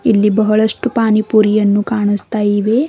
ಇಲ್ಲಿ ಬಹಳಷ್ಟು ಪಾನಿ ಪುರಿಯನ್ನು ಕಾಣಸ್ತಾ ಇವೆ.